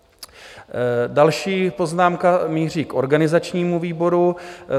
Další poznámka míří k organizačnímu výboru.